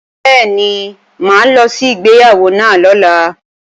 Bẹ́ẹ̀ni, mà á lọ sí ìgbéyàwó náà lọ́la